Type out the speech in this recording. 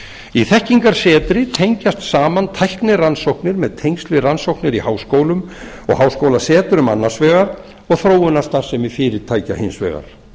í þekkingarsetri tengjast saman tæknirannsóknir með tengsl við rannsóknir í háskólum og háskólasetrum annars vegar og þróunarstarfsemi fyrirtækja hins vegar